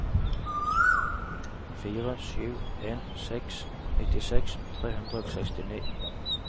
fire sju en seks nittiseks tre hundre og sekstini